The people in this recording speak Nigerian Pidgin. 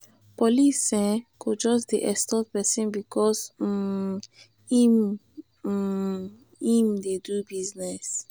police um go just dey extort pesin because um im um im dey do business.